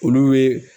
Olu ye